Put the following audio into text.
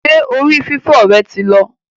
Ṣé orí fífọ́ rẹ ti lọ